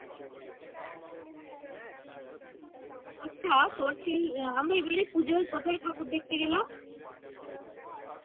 আচ্ছা তোর সেই আহ আমরা এবারে পুজোয় কোথায় ঠাকুর দেখতে গেলাম?